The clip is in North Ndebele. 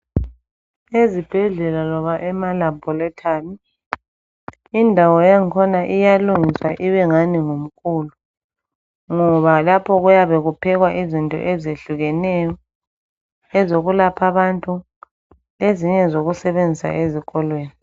Ezibhedlela loba emalaboratory indawo yakhona iyalungiswa ibengani ngumkulu. Ngoba lapho kuyabe kuphekwa izinto ezehlukeneyo, ezokulapha abantu ezinye ngezokusebenzisa ezikolweni.